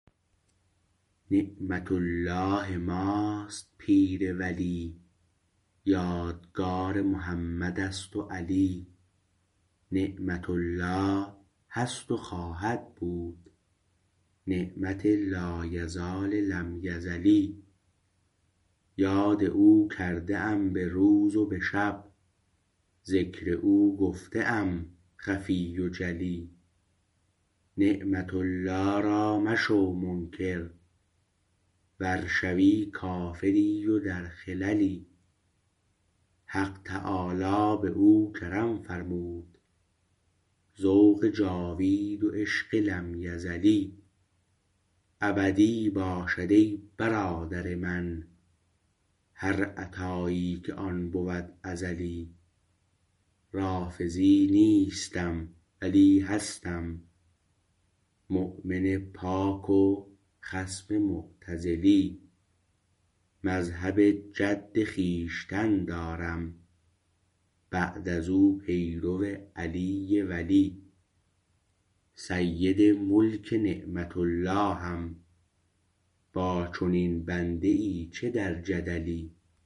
نعمت الله ماست پیر ولی یادگار محمد است و علی نعمت الله هست و خواهد بود نعمت لایزال لم یزلی یاد او کرده ام به روز و به شب ذکر او گفته ام خفی و جلی نعمت الله را مشو منکر ور شوی کافری و در خللی حق تعالی به او کرم فرمود ذوق جاوید و عشق لم یزلی ابدی باشد ای برادر من هر عطایی که آن بود ازلی رافضی نیستم ولی هستم مؤمن پاک و خصم معتزلی مذهب جد خویشتن دارم بعد از او پیرو علی ولی سید ملک نعمت اللهم با چنین بنده ای چه در جدلی